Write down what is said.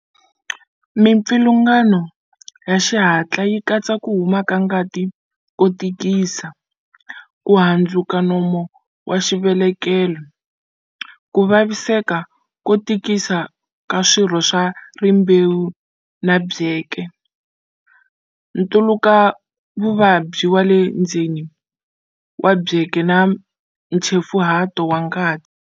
Mipfilungano ya xihatla yi katsa ku huma ka ngati ko tikisa, ku handzuka nomu wa xivelekelo, ku vaviseka ko tikisa ka swirho swa rimbewu na byeke, ntluletavuvabyi wa le ndzeni wa byeke na nchefuhato wa ngati.